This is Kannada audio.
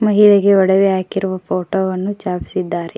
ಮಹಿಳೆಗೆ ಒಡವೆ ಹಾಕಿರುವ ಫೋಟೋ ವನ್ನು ಚಾಪಸಿದ್ದಾರೆ